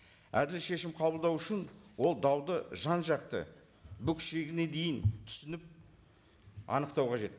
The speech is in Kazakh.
әділ шешім қабылдау үшін ол дауды жан жақты бүк ішегіне дейін түсініп анықтау қажет